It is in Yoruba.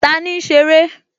Tani ń ṣeré?